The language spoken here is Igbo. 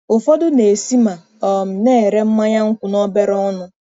Ụfọdụ na-esi ma um na-ere mmanya nkwụ n'obere ọnụ.